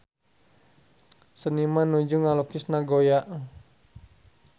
Seniman nuju ngalukis Nagoya